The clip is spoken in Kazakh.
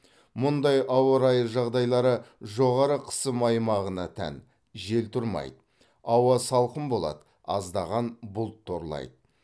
мұндай ауа райы жағдайлары жоғары қысым аймағына тән жел тұрмайды ауа салқын болады аздаған бұлт торлайды